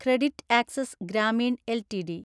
CreditAccess Grameen LTD